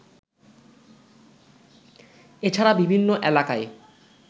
এছাড়া বিভিন্ন এলাকায়